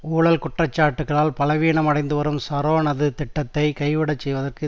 ஊழல் குற்றச்சாட்டுக்களால் பலவீனமடைந்துவரும் ஷரோனது திட்டத்தை கைவிடச் செய்வதற்கு